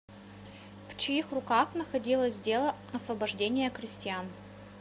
в чьих руках находилось дело освобождения крестьян